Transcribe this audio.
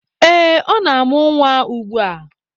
Eh, ọ na-amụ nwa ugbua.